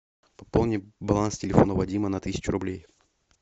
пополни баланс телефона вадима на тысячу рублей